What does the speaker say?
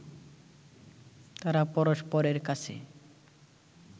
তারা পরস্পরের কাছে